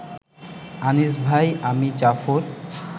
আনিস ভাই, আমি জাফর